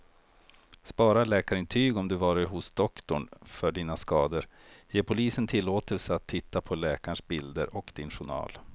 Spara läkarintyg om du varit hos doktorn för dina skador, ge polisen tillåtelse att titta på läkarens bilder och din journal.